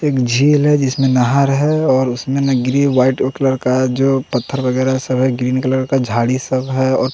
एक झील है जिसमें नहर है और उसमें ग्रीन व्हाइट कलर का जो पत्थर वगैरा सब है ग्रीन कलर का झाड़ी सब है और--